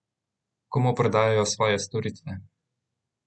Komu prodajajo svoje storitve?